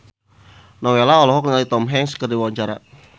Nowela olohok ningali Tom Hanks keur diwawancara